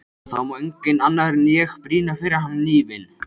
Það má enginn annar en ég brýna fyrir hana hnífinn.